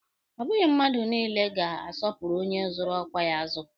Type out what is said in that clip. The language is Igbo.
Ọ bụghị mmadụ niile ga-asọpụrụ onye zụrụ ọkwa ya azụ